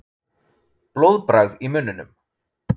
Blóðbragð í munninum.